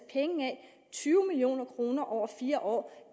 tyve million kroner over fire år